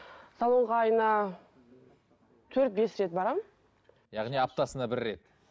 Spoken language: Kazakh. салонға айына төрт бес рет барамын яғни аптасына бір рет